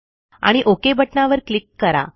आणि ओक बटणावर क्लिक करा